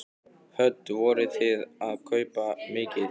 Hödd: Vorið þið að kaupa mikið?